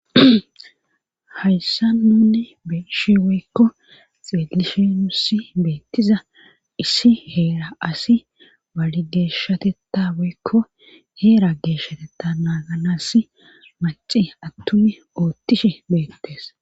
hayssa nunne beshiwoykko xeelishenusi beettiza issi heera asi walideshatetta woykko heera geeshshatetta naaganass maci attumi oottishe beettes